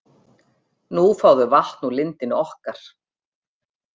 Nú fá þau vatn úr lindinni okkar.